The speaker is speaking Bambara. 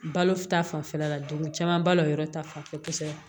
Balo ta fanfɛla la dumuni caman balo yɔrɔ ta fanfɛ kosɛbɛ